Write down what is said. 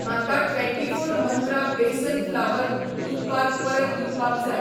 म्हाका twenty four Mantra besan flour उत्पाद परत दिवपाक जाय